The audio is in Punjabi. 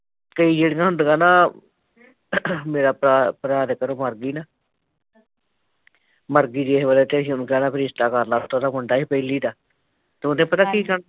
ਕਈ ਜਿਹੜੀਆਂ ਹੁੰਦੀਆਂ ਨਾ , ਏਰਾ ਭਰਾ ਭਰਾ ਦੇ ਘਰੋਂ ਮਰਗੀ ਨਾ ਮਰਗੀ ਤੇ ਜਿਸ ਵੇਲ਼ੇ ਅਸੀਂ ਓਹਨੂੰ ਕਹਿਣਾ ਵੀ ਰਿਸ਼ਤਾ ਕਰਲੇ ਤੇ ਉੱਤੋਂ ਉਹਦਾ ਮੁੰਡਾ ਸੀ ਪਹਿਲੀ ਦਾ ਤੇ ਉਹਨੇ ਪਤਾ ਕੀ ਕਮ